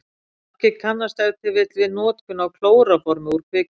margir kannast ef til vill við notkun á klóróformi úr kvikmyndum